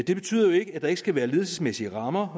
det betyder jo ikke at der ikke skal være ledelsesmæssige rammer